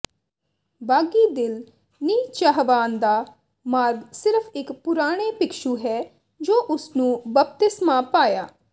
ਬਾਗ਼ੀ ਦਿਲ ਨਿਹਚਾਵਾਨ ਦਾ ਮਾਰਗ ਸਿਰਫ ਇੱਕ ਪੁਰਾਣੇ ਭਿਕਸ਼ੂ ਹੈ ਜੋ ਉਸ ਨੂੰ ਬਪਤਿਸਮਾ ਪਾਇਆ